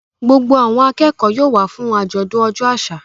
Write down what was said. Gbogbo àwọn akẹ́kọ̀ọ́ yóò wá fún àjọ̀dún ọjọ́ àṣà.